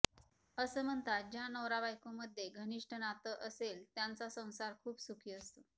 असं म्हणतात ज्या नवरा बायको मध्ये घनिष्ठ नातं असेल त्यांचा संसार खूप सुखी असतो